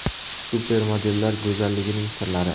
Supermodellar go‘zalligining sirlari.